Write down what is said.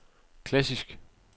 klassisk